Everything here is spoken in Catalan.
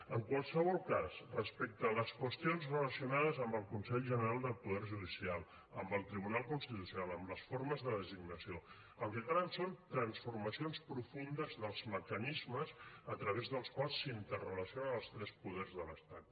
en qualsevol cas respecte a les qüestions relacionades amb el consell general del poder judicial amb el tribunal constitucional amb les formes de designació el que calen són transformacions profundes dels mecanismes a través dels quals s’interrelacionen els tres poders de l’estat